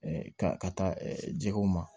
ka ka taa jɛgɛw ma